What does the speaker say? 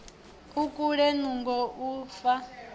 u kulea nungo u fa